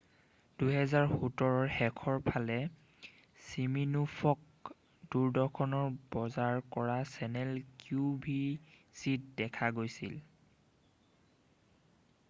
2017 ৰ শেষৰ ফালে চিমিনোফক দূৰদৰ্শনৰ বজাৰ কৰা চেনেল কিউ ভি চিত দেখা গৈছিল